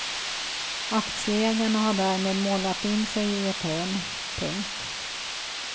Aktieägarna har därmed målat in sig i ett hörn. punkt